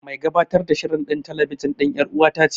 Mai gabatar da shirin telebijin ɗin ƴar'uwata ce.